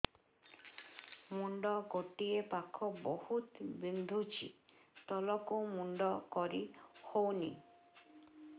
ମୁଣ୍ଡ ଗୋଟିଏ ପାଖ ବହୁତୁ ବିନ୍ଧୁଛି ତଳକୁ ମୁଣ୍ଡ କରି ହଉନି